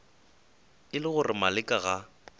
e le gore maleka ga